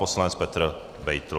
Poslanec Petr Beitl.